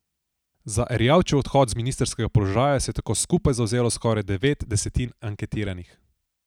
Za Erjavčev odhod z ministrskega položaja se je tako skupaj zavzelo skoraj devet desetin anketiranih.